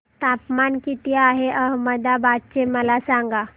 तापमान किती आहे अहमदाबाद चे मला सांगा